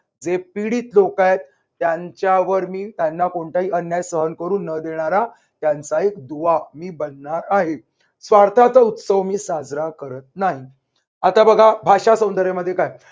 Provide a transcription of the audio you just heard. जे पीडित लोक आहेत त्यांच्यावर मी त्यांना कोणताही अन्याय सहन करून न देणारा त्यांचा एक दुवा मी बनणार आहे. स्वार्थाचा उत्सव मी साजरा करत नाही. आता बघा. भाषासौंदर्य मध्ये काय